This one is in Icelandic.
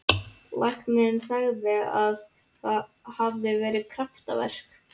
Læknirinn sagði að það hefði verið kraftaverk.